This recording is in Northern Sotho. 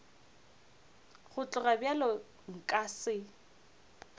go tloga bjalo nka se